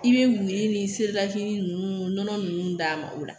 I bɛ miiri ni ninnu nɔnɔ ninnu d'a ma o la